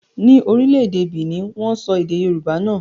Ni orílẹ̀-èdè Benin, wọ́n sọ èdè Yorùbá nà.